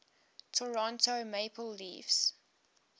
toronto maple leafs